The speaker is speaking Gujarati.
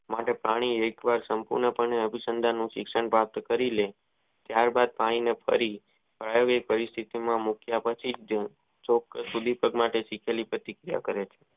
માટે પાણી વિષ સંપુણ પાને અભિસંદનુ શિક્ષણ પ્રાપ્ત કરી લો ટાયર બાદ પાણી કરી આવ્યથા મુખ્ય પછી ચેક પ્રતિક્રિયા કર છે.